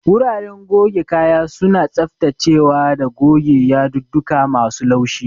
Guraren goge kaya suna tsaftacewa da goge yadudduka masu laushi.